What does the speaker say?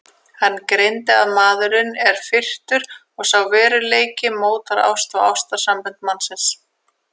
Hann greindi að maðurinn er firrtur og sá veruleiki mótar ást og ástarsambönd mannsins.